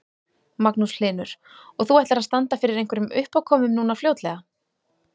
Magnús Hlynur: Og þú ætlar að standa fyrir einhverjum uppákomum núna fljótlega?